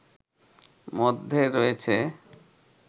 মধ্যে রয়েছে